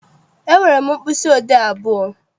Enwere m mkpịsị odee abụọ.